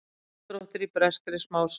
Samdráttur í breskri smásölu